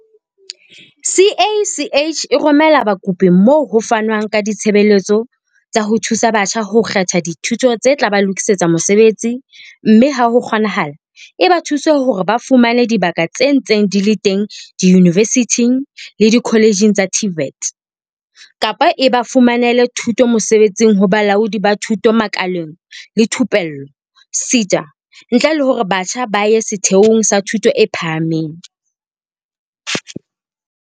CACH e romela bakopi moo ho fanwang ka ditshebeletso tsa ho thusa batjha ho kgetha dithuto tse tla ba lokisetsa mosebetsi mme ha ho kgonahala, e ba thuse hore ba fumane dibaka tse ntseng di le teng diyunivesithing le dikoletjheng tsa TVET, kapa e ba fumanele thuto mosebetsing ho Bolaodi ba Thuto Makaleng le Thupello SETA, ntle le hore batjha ba ye setheong sa thuto e phahameng.